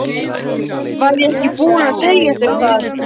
Var ég ekki búin að segja þér það?